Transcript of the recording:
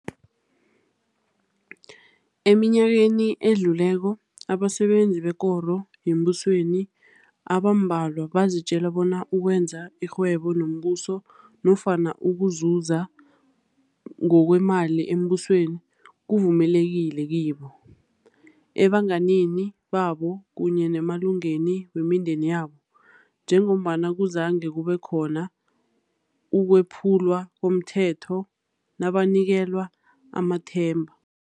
Eminyakeni edluleko, abasebenzi bekoro yembusweni abambalwa bazitjela bona ukwenza irhwebo nomBuso nofana ukuzuza ngokweemali eMbusweni kuvumelekile kibo, ebanganini babo kunye nemalungeni wemindeni yabo, njengombana kuzange kubekhona ukwephulwa komthetho nabanikelwa amathenda.